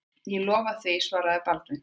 Ég lofa því, svaraði Baldvin.